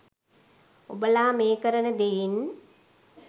ඔබලා මේ කරන දෙයින්